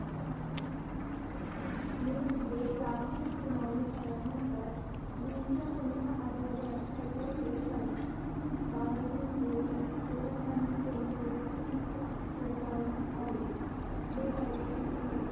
मे मध्ये प्राथमिक सुनावणी झाल्यानंतर जूनच्या पहिल्या आठवड्यात खटला चालू झाला बारां जून रोजी दोघांनाही जन्म ठेपेची शिक्षा ठोठावण्यात आली बेकायदेशीरपणे